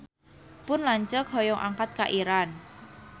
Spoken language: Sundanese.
Pun lanceuk hoyong angkat ka Iran